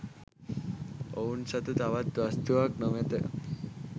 ඔවුන් සතු තවත් වස්තුවක් නොමැත.